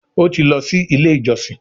o tí lọ sì ilé ìjósìn.